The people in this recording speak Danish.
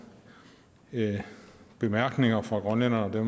bemærkninger fra grønlænderne